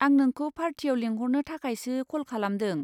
आं नोंखौ पार्टियाव लेंहरनो थाखायसो कल खालामदों।